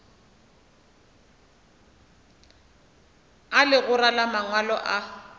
a legora la mangwalo a